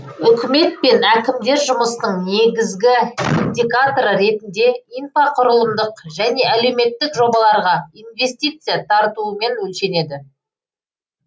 үкімет пен әкімдер жұмысының негізгі индикаторы ретінде инфрақұрылымдық және әлеуметтік жобаларға инвестиция тартуымен өлшенеді